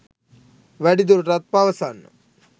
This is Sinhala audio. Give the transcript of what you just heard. වැඩිදුරටත් පවසන්න